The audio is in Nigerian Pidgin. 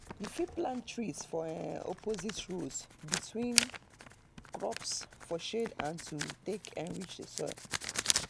you fit plant trees for um opposite rows between crops for shade and to take enrich the soil